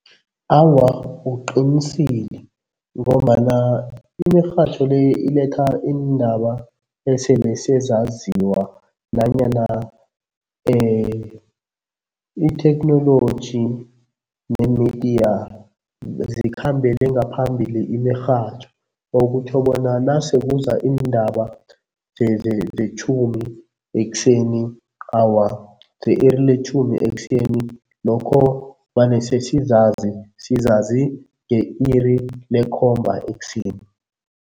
Awa uqinisile ngombana imirhatjho le iletha iindaba esele sezaziwa nanyana itheknoloji nemidiya zikhambele ngaphambili imirhatjho okutjho bona nase kuza iindaba zetjhumi ekuseni, awa, ze-iri letjhumi ekuseni lokho babe sesizazi, sizazi nge-iri lekhomba ekuseni.